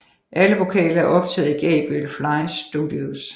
Alle vokaler er optaget i Gabriel Flies Studios